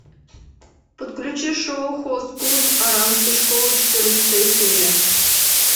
подключи шоу хост клуб оранской школы четырнадцатая серия